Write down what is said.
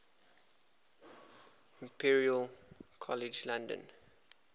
imperial college london